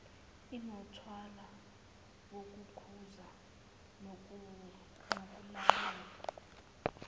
inomthwalo wokukhuza nokulawula